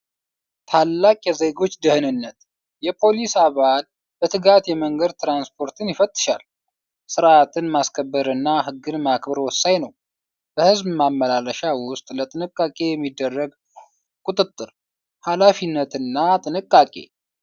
ታላቅ የዜጎች ደህንነት! የፖሊስ አባል በትጋት የመንገድ ትራንስፖርትን ይፈትሻል! ሥርዓትን ማስከበርና ህግን ማክበር ወሳኝ ነው! በሕዝብ ማመላለሻ ውስጥ ለጥንቃቄ የሚደረግ ቁጥጥር! ኃላፊነትና ጥንቃቄ!